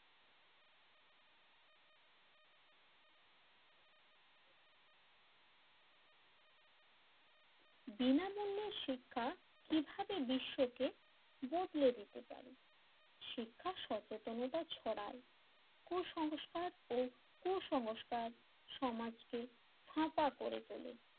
বিনামূল্যে শিক্ষা কিভাবে বিশ্বকে বদলে দিতে পারে শিক্ষা সচেতনতা ছড়ায় কুসংস্কার ও কুসংস্কার সমাজকে ফাঁকা করে তোলে,